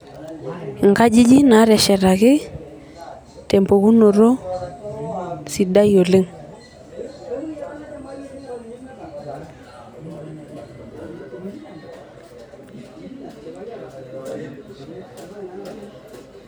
inkajijik naa teshetaki tempukunoto sidai oleng.